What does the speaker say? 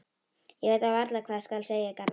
Ég veit varla hvað skal segja, Garðar.